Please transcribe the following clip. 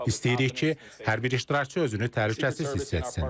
İstəyirik ki, hər bir iştirakçı özünü təhlükəsiz hiss etsin.